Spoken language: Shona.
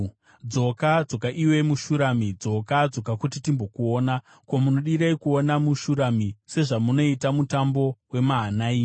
Dzoka, dzoka iwe muShurami; dzoka, dzoka kuti timbokuona! Mudiwa Ko, munodirei kuona muShurami sezvamunoita mutambo weMahanaimi?